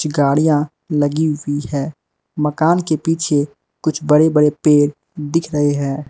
गाड़ियां लगी हुई है मकान के पीछे कुछ बड़े बड़े पेड़ दिख रहे हैं।